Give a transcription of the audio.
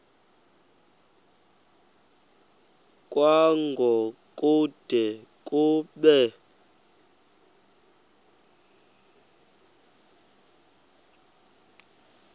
kwango kude kube